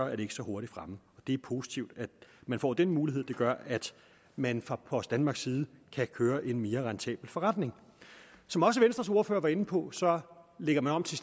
er ikke så hurtigt fremme og det er positivt at man får den mulighed det gør at man fra post danmarks side kan køre en mere rentabel forretning som også venstres ordfører var inde på lægger man om så